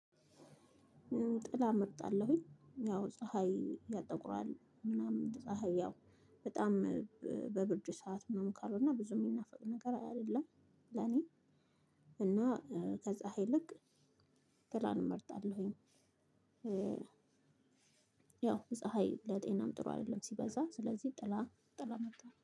ጥላ እመርጣለሁኝ ያው ፀሀይ ያጠቁራል ምናምን ፀሀይ ያው በጣም በብርጅ ሰዓት ምናምን ካልሆነ እኛ ብዙ የሚናፍቅ ነገር አይደለም ለኔ እና ከፀሀይ ልክ ጥላን እመርጣለሁኝ። ያው ፀሀይ ለጤናም ጥሩ አይደለም ሲበዛ ስለዚህ ጥላ ጥላ መጣ